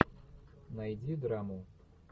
найди драму